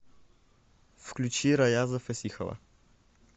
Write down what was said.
включи раяза фасихова